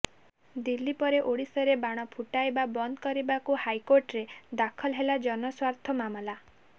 ଦିଲ୍ଲୀ ପରେ ଓଡିଶାରେ ବାଣ ଫୁଟାଇବା ବନ୍ଦ କରିବାକୁ ହାଇକୋର୍ଟରେ ଦାଖଲ ହେଲା ଜନସ୍ୱାର୍ଥ ମାମଲା